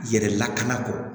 Yɛrɛ lakana kɔ